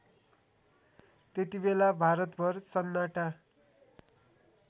त्यतिबेला भारतभर सन्नाटा